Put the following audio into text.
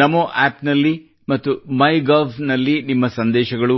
ನಮೋ app ನಲ್ಲಿ ಮತ್ತು MyGov ನಲ್ಲಿ ನಿಮ್ಮ ಸಂದೇಶಗಳು